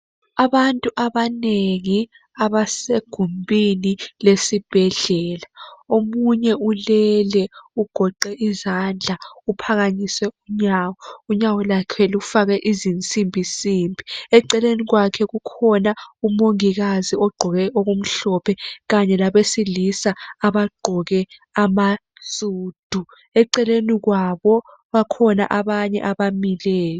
Abantu abanengi abasegumbini lesibhedlela omunye ulele, ugoqe izandla uphakamise unyawo, unyawo lwakhe lufakwe izinsimbinsimbi, eceleni kwakhe kukhona umongikazi ogqoke okumhlophe kanye labesilisa abagqoke amasudu, eceleni kwabo bakhona abanye abamileyo.